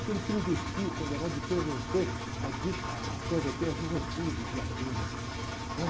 Porque ele pervertia, condenado de perverter a di, ah, perverter a juventude de Atenas.